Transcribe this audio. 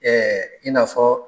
Ɛɛ i na fɔ